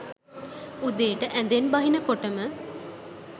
උදේට ඇඳෙන් බහිනකොටම